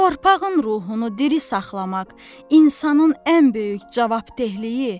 Torpağın ruhunu diri saxlamaq insanın ən böyük cavabdehliyi.